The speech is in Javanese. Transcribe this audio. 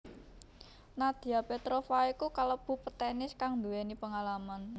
Nadia Petrova iku kalebu petenis kang nduwéni pengalaman